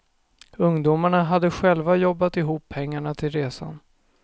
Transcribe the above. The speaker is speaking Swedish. Ungdomarna hade själva jobbat ihop pengarna till resan.